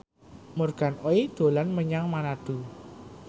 Morgan Oey dolan menyang Manado